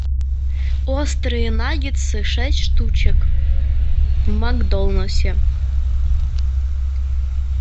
острые наггетсы шесть штучек в макдональдсе